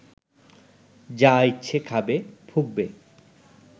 যা ইচ্ছে খাবে, ফুঁকবে